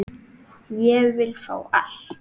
Ég vil fá allt.